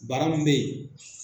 Bana min bɛ yen.